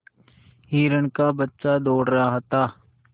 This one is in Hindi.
हिरण का बच्चा दौड़ रहा था